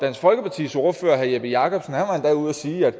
folkepartis ordfører herre jeppe jakobsen var endda ude at sige at